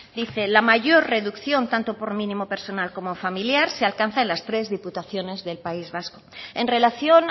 dice la mayor reducción tanto por mínimo personal como familiar se alcanza en las tres diputaciones del país vasco en relación